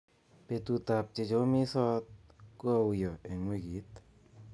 Betutab chechomisot ko auyo eng wikit